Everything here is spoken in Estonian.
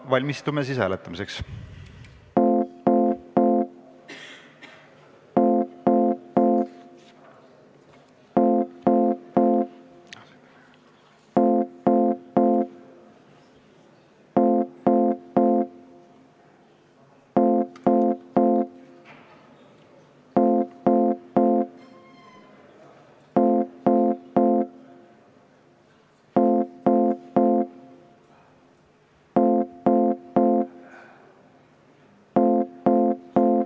Valmistume hääletamiseks.